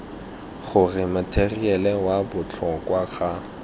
gore matheriale wa botlhokwa ga